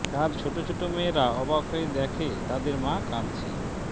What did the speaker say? তার ছোট ছোট মেয়েরা অবাক হয়ে দেখে তাদের মা কাঁদছে